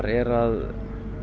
er að